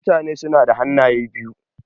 Mutane suna da hannaye biyu.